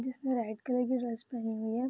जिसने कलर की ड्रेस पहनी हुई है।